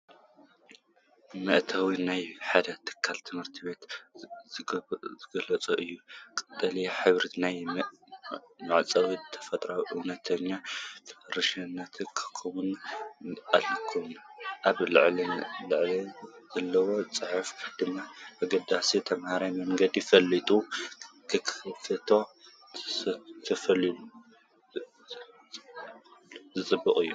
መእተዊ ናይ ሓደ ትካል ትምህርቲ ዝገልጽ እዩ። ቀጠልያ ሕብሪ ናይቲ ማዕጾ ተፈጥሮኣውነትን ፍረሽነትን ክውክል እንከሎ፡ ኣብ ልዕሊኡ ዘሎ ጽሑፍ ድማ ኣገዳስነት ትምህርትን መንገዲ ፍልጠት ክኸፍት ተስፋን ዘንጸባርቕ እዩ።